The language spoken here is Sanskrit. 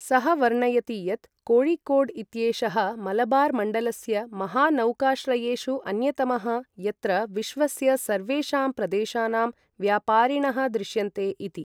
सः वर्णयति यत् कोय़िकोड् इत्येषः मलबार् मण्डलस्य महा नौकाश्रयेषु अन्यतमः यत्र विश्वस्य सर्वेषां प्रदेशानां व्यापारिणः दृश्यन्ते इति।